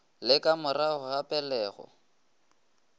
le ka morago ga pelego